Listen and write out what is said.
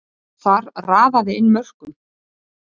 Þar raðaði inn mörkum.